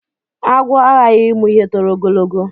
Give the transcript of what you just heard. Àgwụ a hahi imu ihe tọrọ ogologo.